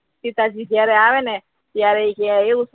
સીતાજી જ્યારે આવે ને ત્યારે ક્યા એવુ